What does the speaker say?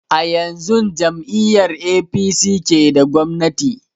A yanzun jam'iyar apc ke da gwamnati